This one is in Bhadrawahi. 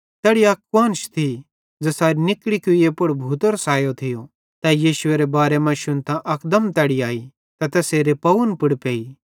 तैड़ी अक कुआन्श थी ज़ेसेरी निकड़ी कुईए पुड़ भूतेरो सायो थियो तै यीशुएरे बारे मां शुन्तां अकदम तैड़ी आई ते तैसेरे पावन पुड़ पेई